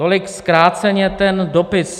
Tolik zkráceně ten dopis.